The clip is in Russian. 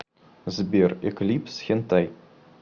сбер эклипс хентай